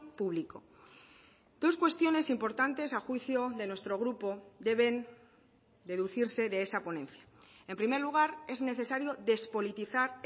público dos cuestiones importantes a juicio de nuestro grupo deben deducirse de esa ponencia en primer lugar es necesario despolitizar